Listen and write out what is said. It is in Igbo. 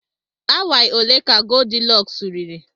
Awaị ole ka Goldilọks riri?